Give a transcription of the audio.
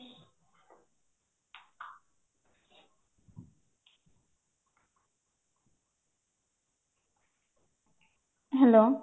hello